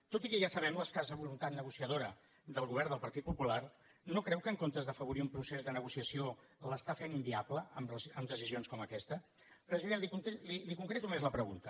tot i que ja sabem l’escassa voluntat negociadora del govern del partit popular no creu que en comptes d’afavorir un procés de negociació l’està fent inviable amb decisions com aquesta president li concreto més la pregunta